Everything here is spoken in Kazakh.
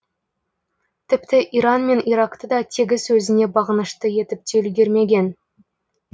тіпті иран мен иракты да тегіс өзіне бағынышты етіп те үлгірмеген